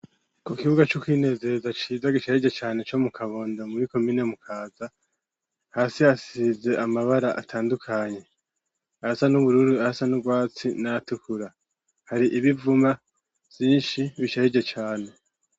ku kibuga c'ukwinezereza ciza gishajije cane co mu kabondo muri komine mukaza hasi hasize amabara atandukanye ayasa n'ubururu ayasa n'urwatsi nayatukura hari ibivuma vyinshi bishajije cane